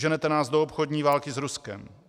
Ženete nás do obchodní války s Ruskem.